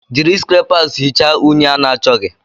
Jiri skrepas hichaa unyi a na-achọghị.